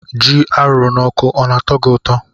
Ji arụ na ọkụ ọna atọ gi ụtọ?